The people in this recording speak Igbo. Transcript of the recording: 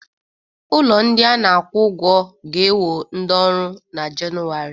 Ụlọ ndị a na-akwụ ụgwọ ga-ewo ndị ọrụ na Jenụwarị